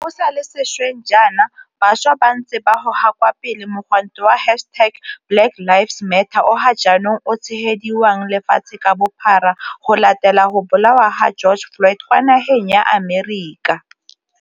Go sa le sešweng jaana, bašwa ba ntse ba goga kwa pele mogwanto wa hashtag BlackLivesMatter o ga jaanong o tshegediwang lefatshe ka bophara go latela go bolawa ga George Floyd kwa nageng ya Amerika.